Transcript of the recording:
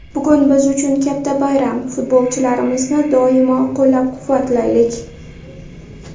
Bugun biz uchun katta bayram, futbolchlarimizni doimo qo‘llab-quvvatlaylik!